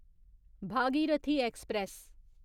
Bhagirathi express